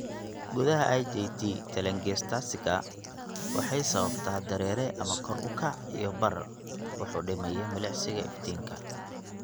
Gudaha IJT, telangiectasiska waxay sababtaa dareere ama kor u kac iyo barar, wax u dhimaya milicsiga iftiinka.